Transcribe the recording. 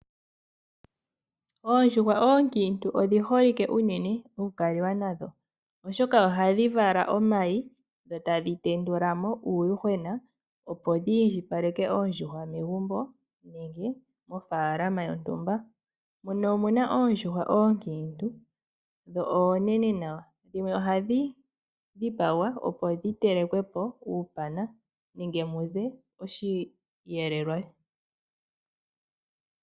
Oondjuhwa oonkiintu odhi holike okukaliwa nadho unene oshoka ohadhi vala omayi, dho tadhi tendula mo uuyuhwena opo dhi indjipaleke oondjuhwa megumbo nenge mofaalama yontumba. Muno omuna oondjuhwa oonkiintu dho oonene nawa. Dhimwe ohadhi dhipagwa po dhininge uupana nenge dhi ninge osheelelwa.